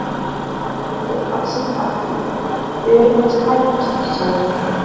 Þú ert alls ekkert að því, við erum bara að slæpast, sagði